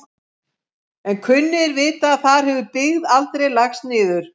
En kunnugir vita að þar hefur byggð aldrei lagst niður.